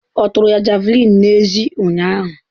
Ọ tụrụ ya Javulinị n'ezie ụnyahụ.